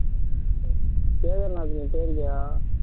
கேதர்நாத் நீ போயிருக்கியா